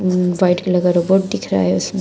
White colour का robot दिख रहा है इसमें।